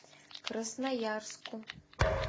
красноярску